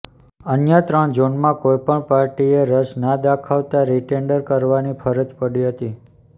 અન્ય ત્રણ ઝોનમાં કોઈપણ પાર્ટીએ રસ ના દાખવતા રીટેન્ડર કરવાની ફરજ પડી હતી